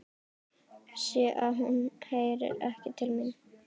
Sé að hún heyrir ekki til mín.